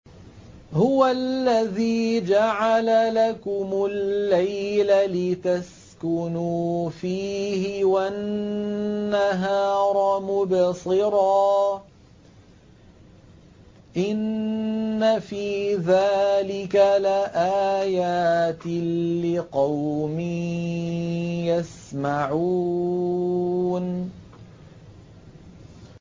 هُوَ الَّذِي جَعَلَ لَكُمُ اللَّيْلَ لِتَسْكُنُوا فِيهِ وَالنَّهَارَ مُبْصِرًا ۚ إِنَّ فِي ذَٰلِكَ لَآيَاتٍ لِّقَوْمٍ يَسْمَعُونَ